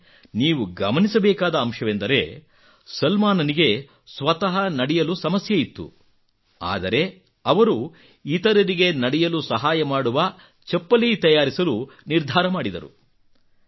ಇಲ್ಲಿ ನೀವು ಗಮನಿಸಬೇಕಾದ ಅಂಶವೆಂದರೆ ಸಲ್ಮಾನನಿಗೆ ಸ್ವತಃ ನಡೆಯಲು ಸಮಸ್ಯೆ ಇತ್ತು ಆದರೆ ಅವರು ಇತರರಿಗೆ ನಡೆಯಲು ಸಹಾಯ ಮಾಡುವ ಚಪ್ಪಲಿ ತಯಾರಿಸಲು ನಿರ್ಧಾರ ಮಾಡಿದರು